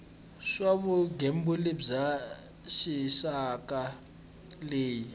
swa vugembuli bya rixaka leyi